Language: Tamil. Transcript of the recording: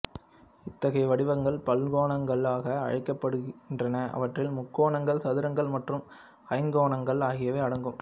இத்தகைய வடிவங்கள் பல்கோணங்களாக அழைக்கப்படுகின்றன அவற்றில் முக்கோணங்கள் சதுரங்கள் மற்றும் ஐங்கோணங்கள் ஆகியவை அடங்கும்